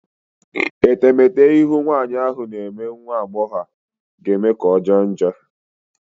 Etemete ihu nwanyị ahụ na-eme nwa agbọghọ ahụ ga-eme ka ọjọọ njọ.